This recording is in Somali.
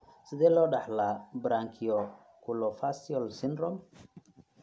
Sidee loo dhaxlaa branchiooculofacial syndrome (BOFS)?